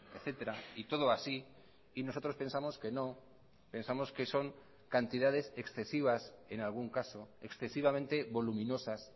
etcétera y todo así y nosotros pensamos que no pensamos que son cantidades excesivas en algún caso excesivamente voluminosas